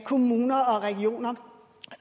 kommuner og regioner